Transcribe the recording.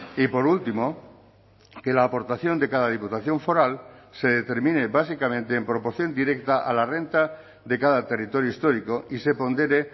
y por último que la aportación de cada diputación foral se determine básicamente en proporción directa a la renta de cada territorio histórico y se pondere